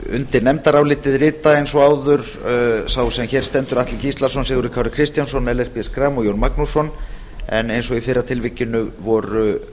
undir nefndarálitið rita eins og áður sá sem hér stendur atli gíslason sigurður kári kristjánsson ellert b schram og jón magnússon en eins og í fyrra tilvikinu voru